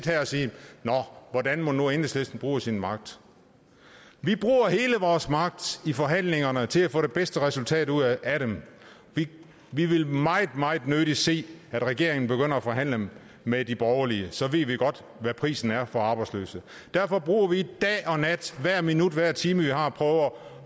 nå hvordan mon nu enhedslisten bruger sin magt vi bruger hele vores magt i forhandlingerne til at få det bedste resultat ud af dem vi vil meget meget nødig se at regeringen begynder at forhandle med de borgerlige så ved vi godt hvad prisen er for arbejdsløse derfor bruger vi dag og nat hvert minut hver time vi har på